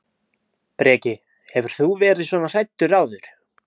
Breki: Hefur þú verið svona hræddur áður?